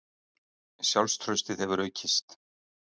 Sjálfstraustið hefur aukist.